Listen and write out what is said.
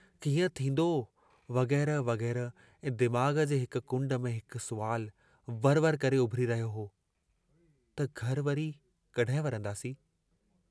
कीअं थींदो वगेरह वगेरह ऐं दिमाग़ जे हिक कुण्ड में हिकु सुवाल वर वर करे उभरी रहियो हो त घर वरी कहिं वरन्दासीं?